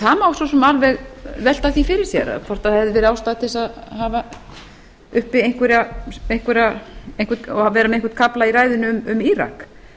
það má svo sem alveg velta því fyrir sér hvort hefði verið ástæða til að vera með einhvern kafla í ræðunni um írak